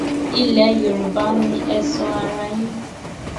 ilẹ yorùbá ni ẹ sọ ara yín